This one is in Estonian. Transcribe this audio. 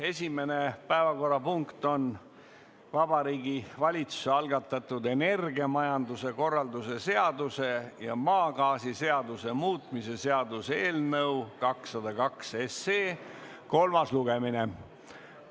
Esimene päevakorrapunkt on Vabariigi Valitsuse algatatud energiamajanduse korralduse seaduse ja maagaasiseaduse muutmise seaduse eelnõu 202 kolmas lugemine.